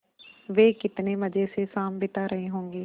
वे कितने मज़े से शाम बिता रहे होंगे